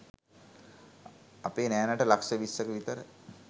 අපේ නෑනට ලක්‍ෂ විස්‌සක විතර